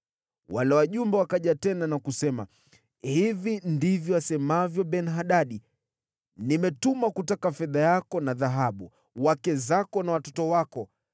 Wale wajumbe wakaja tena na kusema, “Hivi ndivyo asemavyo Ben-Hadadi: ‘Nimetuma kutaka fedha yako na dhahabu, wake zako na watoto wako.